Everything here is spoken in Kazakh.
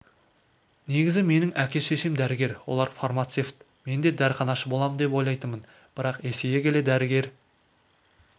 негізі менің әке-шешем дәрігер олар фармацевт мен де дәріханашы боламын деп ойлайтынмын бірақ есейе келе дәрігер